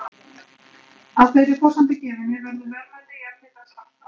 Að þeirri forsendu gefinni verður verðmæti jarðhitans allt annað.